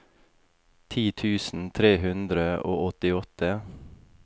ti tusen tre hundre og åttiåtte